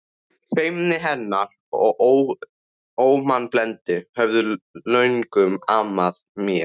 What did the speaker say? Feimni hennar og ómannblendni höfðu löngum amað mér.